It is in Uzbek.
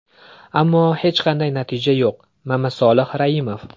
Ammo hech qanday natija yo‘q”, Mamasolih Raimov.